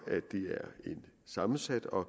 sammensat og